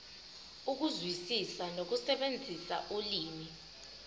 ukuzwisisa nokusebenzisa ulimi